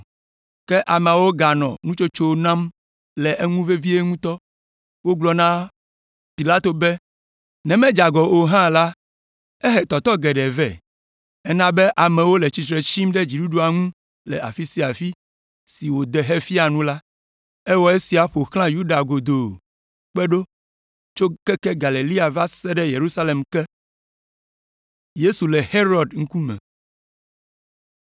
Ke ameawo ganɔ nutsotso nam le eŋu vevie ŋutɔ. Wogblɔ na Pilato be, “Ne medze agɔ o hã la, ehe tɔtɔ geɖe vɛ. Ena be amewo le tsitre tsim ɖe dziɖuɖua ŋu le afi sia afi si wòde hefia nu la. Ewɔ esia ƒo xlã Yudea godoo kpe ɖo tso keke Galilea va se ɖe Yerusalem ke!”